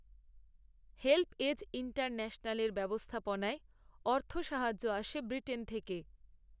HelpAge ইন্টারন্যাশনালের ব্যবস্থাপনায় অর্থসাহায্য আসে ব্রিটেন থেকে